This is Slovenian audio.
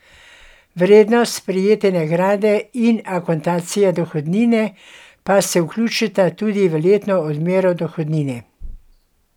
Vrednost prejete nagrade in akontacija dohodnine pa se vključita tudi v letno odmero dohodnine.